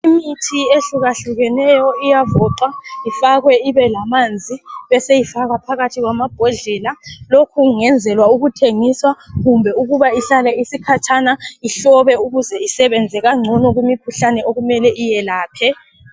Imithi ehlukahlukeneyo iyavoxwa ,ifakwe ibelamanzi .Beseyifakwa phakathi kwamabhodlela ,lokhu kungenzelwa ukuthengiswa kumbe ukuba ihlale isikhatshana ihlobe .Ukuze isebenze kangcono kumikhuhlane okumele iyelaphe.